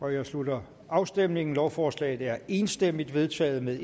jeg slutter afstemningen lovforslaget er enstemmigt vedtaget med